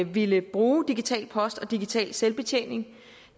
ville bruge digital post og digital selvbetjening